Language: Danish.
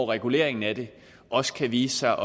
regulering af det også kan vise sig